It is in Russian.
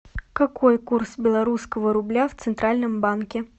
какой курс белорусского рубля в центральном банке